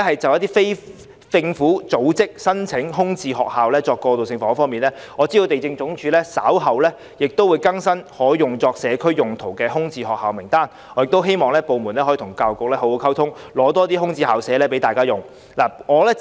就非政府組織申請空置校舍作過渡性房屋方面，我知道地政總署稍後會更新可作社區用途的空置校舍名單，因此我亦希望該部門可與教育局好好溝通，以便撥出更多空置校舍，供非政府組織使用。